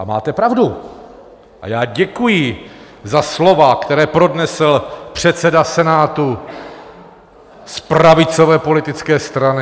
A máte pravdu a já děkuji za slova, která pronesl předseda Senátu z pravicové politické strany.